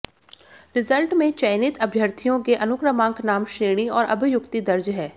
result में चयनित अभ्यर्थियों के अनुक्रमांक नाम श्रेणी और अभ्युक्ति दर्ज है